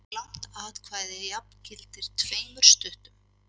Langt atkvæði jafngilti tveimur stuttum.